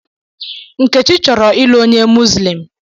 Nkechi choro i lu onye Muslim.